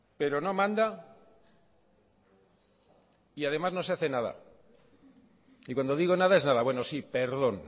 pero no manda y además no se hace nada y cuando digo nada es nada bueno sí perdón